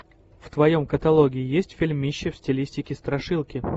в твоем каталоге есть фильмище в стилистике страшилки